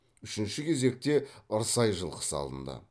үшінші кезекте ырсай жылқысы алынды